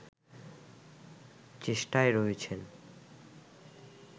চেষ্টায় রয়েছেন